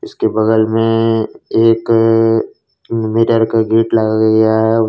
उसके बगल में एक मिरर का गेट लगा गया है।